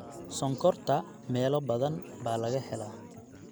Sonkorta meelo badan baa laga helaa.